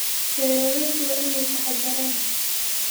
Beeraleydu waa inay taxaddaraan.